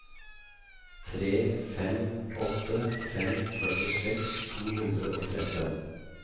tre fem åtte fem førtiseks to hundre og tretten